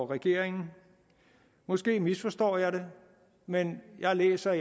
regering måske misforstår jeg det men jeg læser